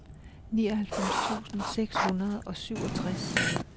nioghalvfems tusind seks hundrede og syvogtres